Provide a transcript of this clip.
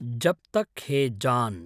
जब् तक् है जान्